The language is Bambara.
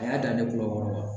A y'a dan ne b'u wɔrɔ wa